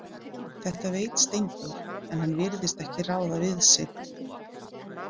Þetta veit Steindór, en hann virðist ekki ráða við sig.